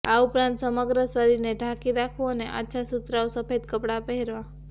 આ ઉપરાંત સમગ્ર શરીરને ઢાંકી રાખવું અને આછા સુતરાઉ સફેદ કપડાં પહેરવાં